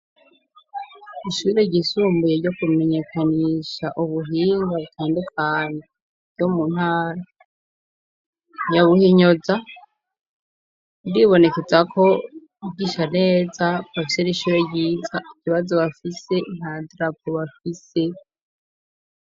ishure ry'isumbuye ryo kumenyekanisha ubuhinga butandukanye bwo mu ntara yabuhinyoza, ndibonekeza ko bwigisha neza, bafise n'ishure ryiza, ikibazo bafise nta drapo bafise.